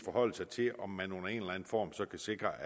forholde sig til om man under en form så kan sikre